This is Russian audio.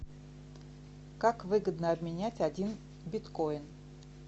как выгодно обменять один биткоин